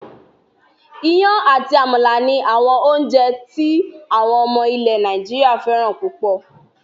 Iyán àti àmàlà ni àwọn oúnjẹ tí àwọn ọmọ ilẹ̀ Nàìjíríà fẹ́ràn púpọ̀